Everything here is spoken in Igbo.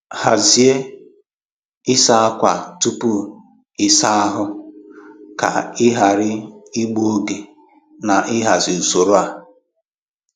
Hazie ịsa ákwà tupu ịsa ahụ ka ị ghara igbu oge na ịhazi usoro a.